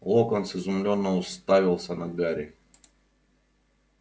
локонс изумлённо уставился на гарри